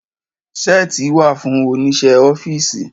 Seeti wa fún Oníṣẹ́ ọ́fíìsì.